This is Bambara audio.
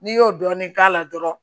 N'i y'o dɔɔnin k'a la dɔrɔn